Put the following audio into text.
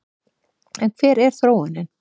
En hver er þróunin?